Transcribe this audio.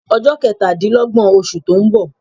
Ọjọ́ ketadinlogbọn osù to ń bọ